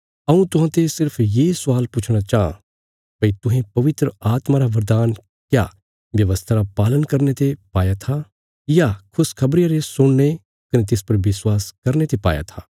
हऊँ तुहांते सिर्फ ये स्वाल पुछणा चाँह भई तुहें पवित्र आत्मा रा बरदान क्या व्यवस्था रा पालन करने ते पाया था या खुशखबरिया रे सुणने कने तिस पर विश्वास करने ते पाया था